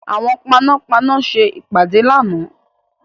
Àwọn panápaná ṣe ìpàdé lánàá.